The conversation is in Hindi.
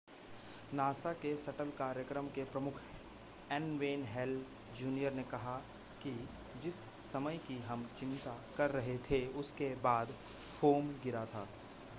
नासा के शटल कार्यक्रम के प्रमुख एन वेन हेल जूनियर ने कहा कि जिस समय की हम चिंता कर रहे थे उसके बाद फोम गिरा था